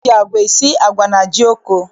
E ji agwa esi agwa na jioko.